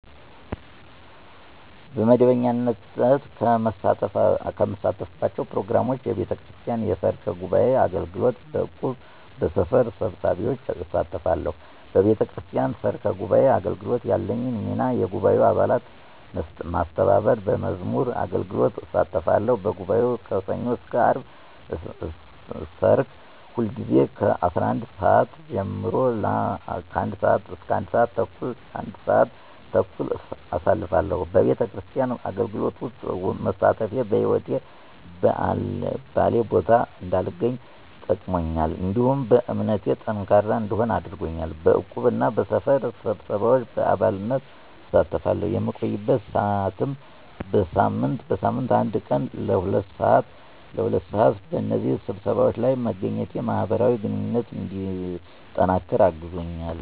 በመደበኛነት ከምሳተፍባቸው ፕሮግራሞች፣ የቤተክርስቲያን የሰርክ ጉባዔ አገልግሎት፣ በእቁብ፣ በሰፈር ስብሰባዎች እሳተፋተለሁ። በቤተክርስቲያን ሰርክ ጉባዓ አገልግሎት ያለኝ ሚና የጉባኤውን አባላት መስተባበር፣ በመዝሙር አገልግሎት እሳተፋለሁ፤ በጉባኤው ከሠኞ እስከ አርብ ሰርክ ሁልጊዜ ከ11:00 ሰዓት ጀምሮ ለ1:30 (ለአንድ ሰዓት ተኩል) አሳልፋለሁ፤ በቤተክርስቲያን አገልግሎት ውስጥ መሳተፌ በህይወቴ በአልባሌ ቦታ እንዳልገኝ ጠቅሞኛል፤ እንዲሁም በእምነቴ ጠንካራ እንድሆን አድርጎኛል። በዕቁብ እና በሰፈር ስብሰባዎች በአባልነት እሳተፋለሁ፣ የምቆይበት ሰዓትም በሳምንት አንድ ቀን ለ2:00 ሰዓት (ለሁለት ሰዓት)፣ በእነዚህ ስብሰባዎች ለይ መገኘቴ ማህበራዊ ግንኙነቴ እንዲጠነቅር አግዞኛል።